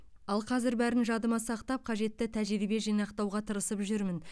ал қазір бәрін жадыма сақтап қажетті тәжірибе жинақтауға тырысып жүрмін